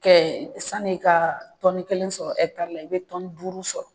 Kɛ sani ka tɔni kelen sɔrɔ la i bɛ tɔni duuru sɔrɔ